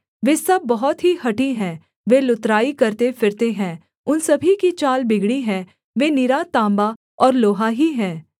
वे सब बहुत ही हठी हैं वे लुतराई करते फिरते हैं उन सभी की चाल बिगड़ी है वे निरा तांबा और लोहा ही हैं